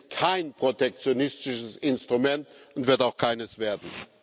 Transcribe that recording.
Es ist kein protektionistisches Instrument und wird auch keines werden.